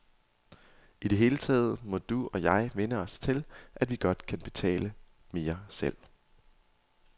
I det hele taget må du og jeg vænne os til, at vi godt kan betale mere selv.